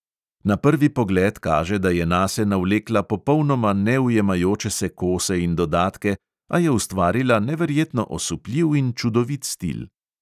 Na prvi pogled kaže, da je nase navlekla popolnoma neujemajoče se kose in dodatke, a je ustvarila neverjetno osupljiv in čudovit stil.